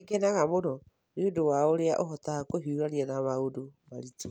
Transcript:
Nĩ ngenaga mũno nĩ ũndũ wa ũrĩa ũhotaga kũhiũrania na maũndũ maritũ